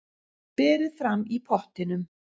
Berið fram í pottinum.